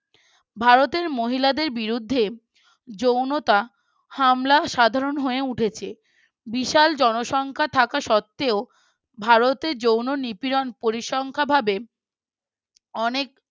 ভারতের মহিলাদের বিরুদ্ধে যৌনতা হামলা সাধারণ হয়ে উঠেছে বিশাল জনসংখ্যা থাকা সত্ত্বেও ভারতে যৌন নিপীড়ন পরিসংখ্যা ভাবে অনেক